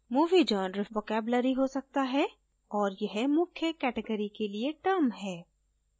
movie genre vocabulary हो सकता है और यह मुख्य category के लिए term है